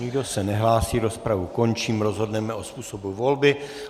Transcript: Nikdo se nehlásí, rozpravu končím, rozhodneme o způsobu volby.